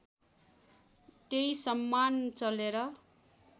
त्यही सम्मान चलेर